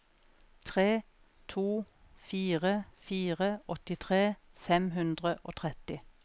tre to fire fire åttitre fem hundre og tretti